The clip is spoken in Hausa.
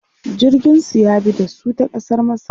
jirgin su ya bi da su ta kasar masar